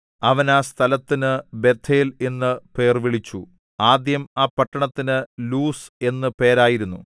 അവൻ ആ സ്ഥലത്തിനു ബേഥേൽ എന്നു പേർവിളിച്ചു ആദ്യം ആ പട്ടണത്തിന് ലൂസ് എന്നു പേരായിരുന്നു